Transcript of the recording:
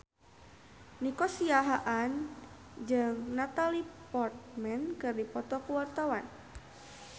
Nico Siahaan jeung Natalie Portman keur dipoto ku wartawan